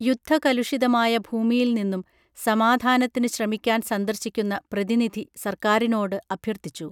യുദ്ധകലുഷിതമായ ഭൂമിയിൽനിന്നും സമാധാനത്തിന് ശ്രമിക്കാൻ സന്ദർശിക്കുന്ന പ്രതിനിധി സർക്കാറിനോട് അഭ്യർഥിച്ചു